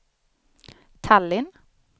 Tallinn